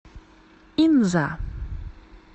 инза